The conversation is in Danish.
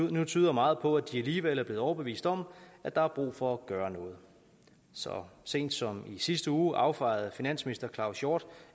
nu tyder meget på at de alligevel er blevet overbevist om at der er brug for at gøre noget så sent som i sidste uge affejede finansminister claus hjort